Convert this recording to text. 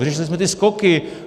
Vyřešili jsme ty skoky.